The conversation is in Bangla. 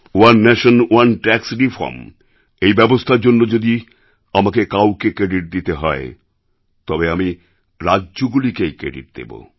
one nation one tax reform এই ব্যবস্থার জন্য যদি আমাকে কাউকে ক্রেডিট দিতে হয় তবে আমি রাজ্যগুলিকে এই ক্রেডিট দেবো